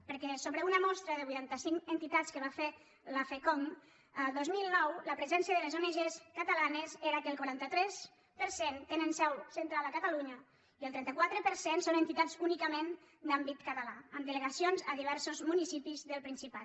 perquè sobre una mostra de vuitanta cinc entitats que va fer la fcongd el dos mil nou la presència de les ong catalanes era que el quaranta tres per cent tenen seu central a catalunya i el trenta quatre per cent són entitats únicament d’àmbit català amb delegacions a diversos municipis del principat